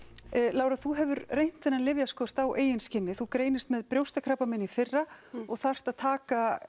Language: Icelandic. Lára þú hefur reynt lyfjaskortinn á eigin skinni þú greinist með brjóstakrabbamein í fyrra og þarft að taka